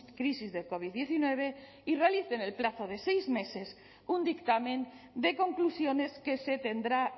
crisis del covid diecinueve y realice en el plazo de seis meses un dictamen de conclusiones que se tendrá